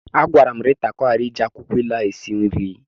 Agwara m Rita ka ọ ghara iji akwụkwọ ilu ahụ esi nri.